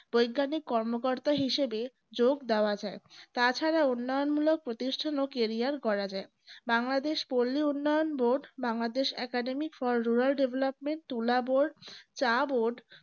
বৈজ্ঞানিক কর্মকর্তা হিসেবে যোগ দেওয়া যায় তাছাড়া উন্নয়নমূলক প্রতিষ্ঠান ও carrier করা যায় বাংলাদেশ পল্লী উন্নয়ন board Bangladesh academic for rural development তুলা board চা board